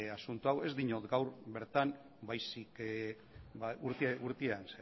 asunto hau ez diot gaur bertan baizik eta urtean